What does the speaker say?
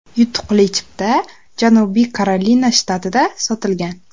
Yutuqli chipta Janubiy Karolina shtatida sotilgan.